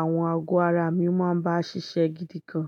àwọn ago ara mi máa ń bá ṣiṣẹ́ gidi gan.